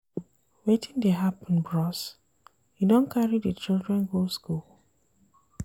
Wetin dey happen bros? you don carry di children go skool?